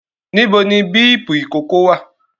Níbo ni bíípù ìkókó wà?